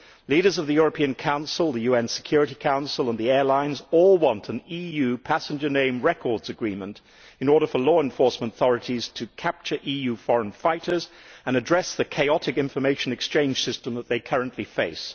Leaders of the European Council, the UN Security Council and the airlines all want an EU passenger name records agreement in order for law enforcement authorities to capture EU foreign fighters and address the chaotic information exchange system that they currently face.